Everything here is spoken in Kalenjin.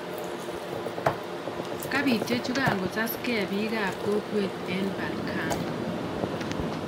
kapiit chechu angosaskee piik-ap kokwet en Balkan